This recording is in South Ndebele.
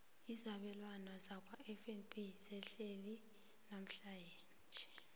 izabelwana zakwafnb zehlile namhlanje